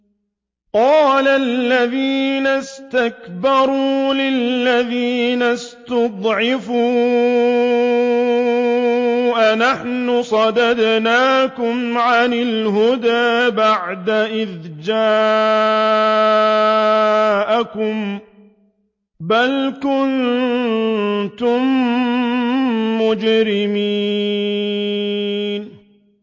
قَالَ الَّذِينَ اسْتَكْبَرُوا لِلَّذِينَ اسْتُضْعِفُوا أَنَحْنُ صَدَدْنَاكُمْ عَنِ الْهُدَىٰ بَعْدَ إِذْ جَاءَكُم ۖ بَلْ كُنتُم مُّجْرِمِينَ